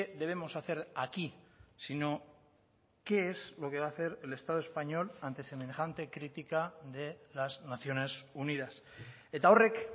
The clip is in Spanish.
debemos hacer aquí sino qué es lo que va hacer el estado español ante semejante crítica de las naciones unidas eta horrek